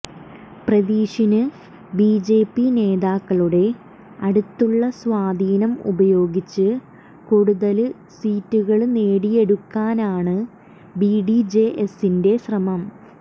പ്രദീഷിന് BJP നേതാക്കളുടെ അടുത്തുള്ള സ്വാധീനം ഉപയോഗിച്ച് കൊടുതല് സീറ്റുകള് നെടിയെടുക്കാനാണ് ബിഡിജെഎസിന്റെ ശ്രമം